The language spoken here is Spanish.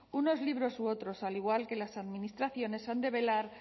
unos libros u otros al igual que las administraciones han de velar